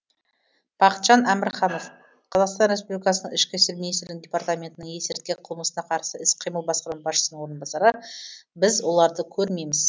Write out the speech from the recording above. бақытжан әмірханов қазақстан республикасының ішкі істер министрінің департаментінің есірткі қылмысына қарсы іс қимыл басқарма басшысының орынбасары біз оларды көрмейміз